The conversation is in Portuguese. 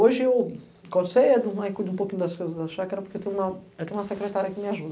Hoje, eu acordo cedo aí cuido um pouquinho das coisas da chácara porque tenho uma, tenho uma secretária que me ajuda